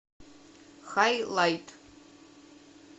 хайлайт